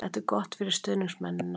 Þetta er gott fyrir stuðningsmennina.